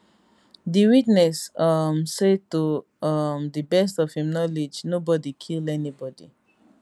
di witness um say to um di best of im knowledge nobody kill anybody